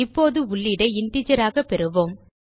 இப்போது உள்ளீடை இன்டிஜர் ஆக பெறுவோம்